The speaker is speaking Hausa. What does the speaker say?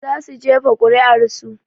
Za su jefa kuri'ar su